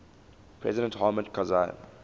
president hamid karzai